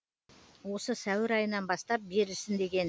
осы сәуір айынан бастап берілсін деген